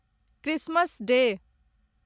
Christmas day